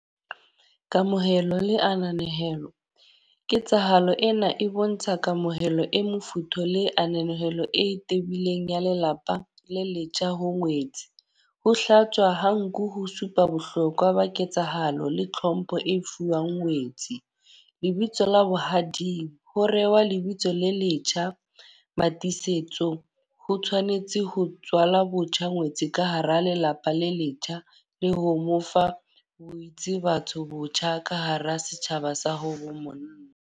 Kamohelo le ananehelo. Ketsahalo ena e bontsha kamohelo e mofuthu, le ananehelo e tebileng ya lelapa le letjha ho ngwetsi. Ho hlatswa ha nku ho supa bohlokwa ba ketsahalo le tlhompho e fuwang ngwetsi. Lebitso la bohading, ho rewa lebitso le letjha Mmatiisetso. Ho tshwanetse ho tswalwa botjha ngwetsi ka hara lelapa le letjha. Le ho mo fa boditse batho botjha ka hara setjhaba sa ha bo monna.